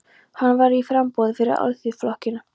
Hann var í framboði fyrir Alþýðuflokkinn.